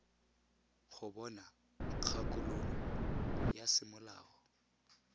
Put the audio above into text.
go bona kgakololo ya semolao